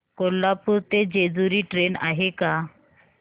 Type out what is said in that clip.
कोल्हापूर ते जेजुरी ट्रेन आहे का